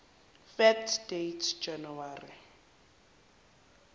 fact date january